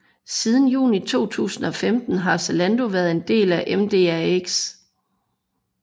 Siden juni 2015 har Zalando været en del af MDAX